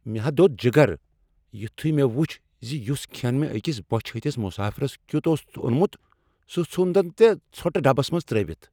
مےٚ ہا دوٚد جگر یتھے مےٚ وچھ ز یس کھین مےٚ أکس بۄچھہٕ ہتس مسٲفرس کیتھ اوس اوٚنمت سہ ژھن تٔمۍ ژھۄٹہٕ ڈبس منٛز ترٛٲوتھ۔